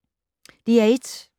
DR1